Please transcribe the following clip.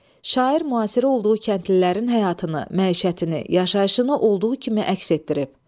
C. Şair müasiri olduğu kəndlilərin həyatını, məişətini, yaşayışını olduğu kimi əks etdirib.